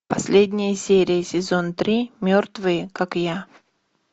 последняя серия сезон три мертвые как я